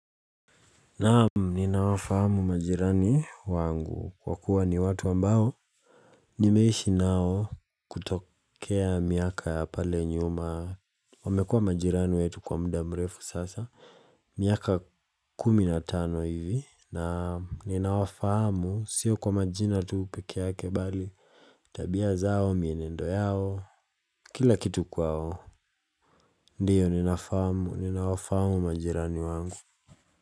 Naam, ninawafahamu majirani wangu kwa kuwa ni watu ambao. Nimeishi nao kutokea miaka ya pale nyuma. Wamekuwa majirani wetu kwa muda mrefu sasa. Miaka kumi na tano hivi. Naam, ninawafahamu sio kwa majina tu peke yake bali. Tabia zao, mienendo yao, kila kitu kwao. Ndiyo, ninawafahamu majirani wangu.